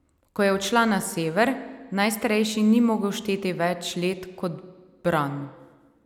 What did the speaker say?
Ko je odšla na sever, najstarejši ni mogel šteti več let kot Bran.